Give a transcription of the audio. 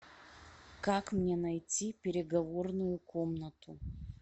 как мне найти переговорную комнату